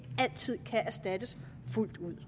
altid kan erstattes fuldt ud